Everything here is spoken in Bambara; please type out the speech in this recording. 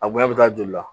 A bonya bɛ taa joli la